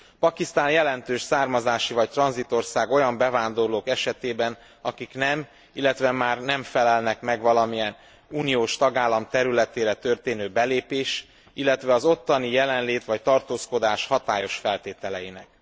Pakisztán jelentős származási vagy tranzitország olyan bevándorlók esetében, akik nem, illetve már nem felelnek meg valamilyen uniós tagállam területére történő belépés, illetve az ottani jelenlét vagy tartózkodás hatályos feltételeinek.